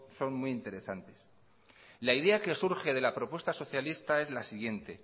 son muy interesantes la idea que surge de la propuesta socialista es la siguiente